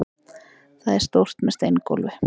Það er stórt, með steingólfi.